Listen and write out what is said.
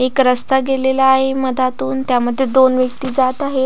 एक रस्ता गेलेला आहे मधातून त्यामध्ये दोन व्यक्ति जात आहे.